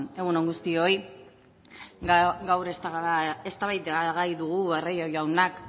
egun on guztioi gaur eztabaidagai dugu barrio jaunak